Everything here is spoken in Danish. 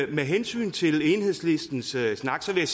med hensyn til enhedslistens snak vil